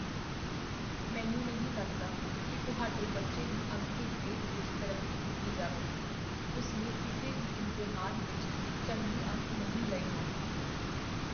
ਮੈਨੂੰ ਨਹੀਂ ਲੱਗਦਾ ਕੀ ਤੁਹਾਡੇ ਬੱਚੇ ਨੂੰ ਅਗਲੇ ਗ੍ਰੇਡ ਵਿੱਚ ਤਰੱਕੀ ਦਿੱਤੀ ਜਾਵੇਗੀ। ਉਸ ਨੇ ਕਿਸੇ ਵੀ ਇਮਤਿਹਾਨ ਵਿੱਚ ਚੰਗੇ ਅੰਕ ਨਹੀਂ ਲਏ ਹਨ।